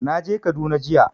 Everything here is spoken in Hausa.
Na je Kaduna jiya